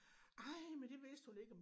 Ej men det vidste hun ikke om